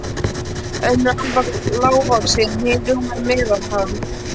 Önnur afar lágvaxin, hin rúmlega meðalhá.